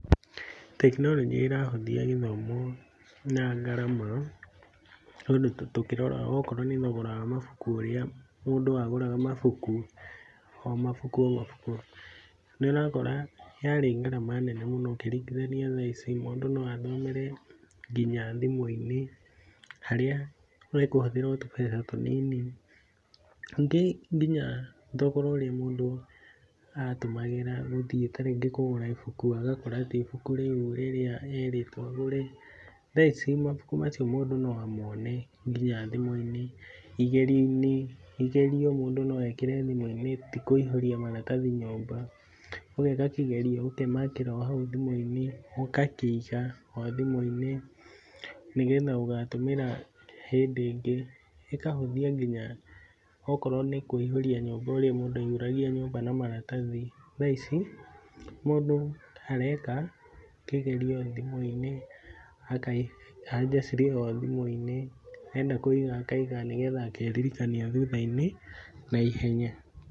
Tekinoronjĩ ĩrahũthia gĩthomo na ngarama, tondũ tũkĩrora okorwo nĩ thogora wa mabuku ũrĩa mũndũ agũraga mabuku, o mabuku, o mabuku, nĩ ũrakora yarĩ ngarama nene mũno ũkĩringithania thaa ici, mũndũ no athomere nginya thimũ-inĩ, harĩa ekũhũthĩra o tũbeca tũnini, nyingĩ nginya thogora ũrĩa mũndũ atũmagĩra gũthiĩ ta rĩngĩ kũgũra ibuku agakora ti ibuku rĩu rĩrĩa erĩtwo agũre, thaa ici mabuku macio mũndũ no amone nginya thimũ-inĩ, igerio-inĩ, igerio mũndũ no ekĩre thimũ-inĩ, ti kũihũria maratathi nyũmba, ũgeka kĩgerio ũkemakĩra o hau thimũ-inĩ, ũgakĩiga o thimũ-inĩ, nĩ getha ũgatũmĩra hĩndĩ ĩngĩ, ĩkahũthia nginya okorwo nĩ kũihũria nyũmba ũrĩa mũndũ aihũragia nyũmba na maratathi, thaa ici, mũndũ areka kĩgerio thimũ-inĩ, aka, anja cirĩ ho thimu-inĩ, enda kũiga akaiga, nĩ getha akeririkania thutha-inĩ na ihenya.